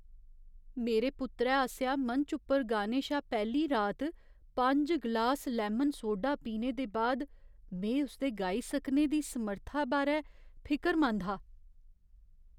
मेरे पुत्तरै आसेआ मंच उप्पर गाने शा पैह्ली राती पंज ग्लास लैमन सोडा पीने दे बाद में उसदे गाई सकने दी समर्था बारै फिकरमंद हा।